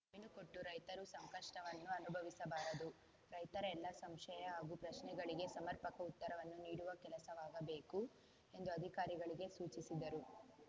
ಜಮೀನು ಕೊಟ್ಟು ರೈತರು ಸಂಕಷ್ಟವನ್ನು ಅನುಭವಿಸಬಾರದು ರೈತರ ಎಲ್ಲ ಸಂಶಯ ಹಾಗೂ ಪ್ರಶ್ನೆಗಳಿಗೆ ಸಮರ್ಪಕ ಉತ್ತರವನ್ನು ನೀಡುವ ಕೆಲಸವಾಗಬೇಕು ಎಂದು ಅಧಿಕಾರಿಗಳಿಗೆ ಸೂಚಿಸಿದರು